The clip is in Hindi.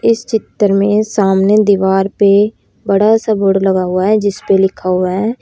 इस चित्र में सामने दीवार पे बड़ा सा बोर्ड लगा हुआ है जिस पे लिखा हुआ है।